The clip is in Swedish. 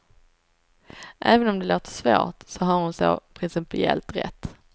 Även om det låter svårt, så har hon så principiellt rätt.